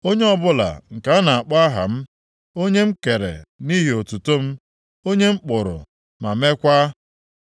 onye ọbụla nke a na-akpọ aha m, onye m kere nʼihi otuto m, onye m kpụrụ, ma meekwa.”